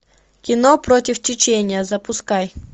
кино против течения запускай